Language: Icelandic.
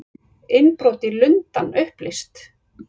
Innbrot í Lundann upplýst